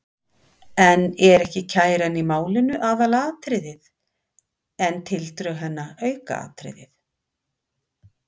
En er ekki kæran í málinu aðalatriðið en tildrög hennar aukaatriði?